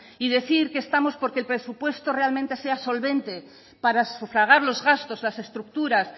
y decir que estamos porque el presupuesto realmente sea solvente para sufragar los gastos las estructuras